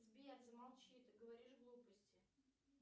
сбер замолчи ты говоришь глупости